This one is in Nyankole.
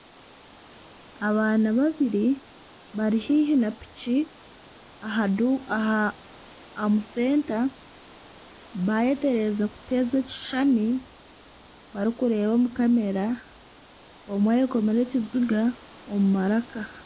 Abaana babiri bari haihi na piki omu senta beetererize kuteeza ekishuushani barikureeba omu kamera omwe ayekomire ekiziga omu maraka.